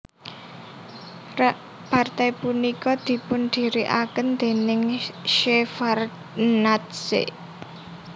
Partai punika dipundhirikaken déning Shevardnadze